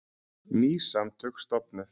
Ný samtök stofnuð